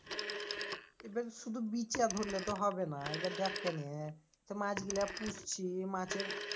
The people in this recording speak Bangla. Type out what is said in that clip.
এবার শুধু বিচ্যা ধরলে তো হবে না এবার দেখ কেনে তোর মাছ গুলা পুষছি মাছের